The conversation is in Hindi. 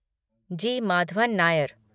जी. माधवन नायर